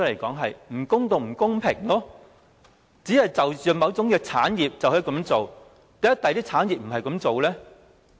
這是不公道、不公平的，為何只是就着某種產業這樣做，其他產業又不是這樣做呢？